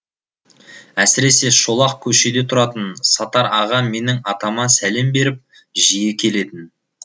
әсіресе шолақ көшеде тұратын сатар аға менің атама сәлем беріп жиі келетін